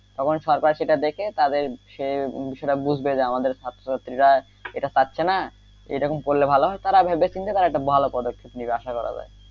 তখন সরকার সেটা দেখে তাদের সে সেটা বুঝবে যে আমাদের ছাত্র ছাত্রীরা এটা পাচ্ছে না এরকম করলে ভালো হয় তারা ভেবে চিন্তে তারা একটা ভালো পদক্ষেপ নিবে আশা করা যায়,